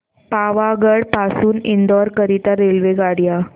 पावागढ पासून इंदोर करीता रेल्वेगाड्या